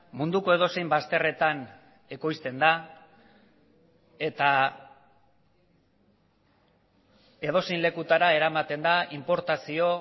munduko edozein bazterretan ekoizten da eta edozein lekutara eramaten da inportazio